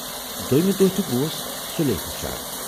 دویِمہٕ دۅہ تہِ گَوس سُلی ہُشیار۔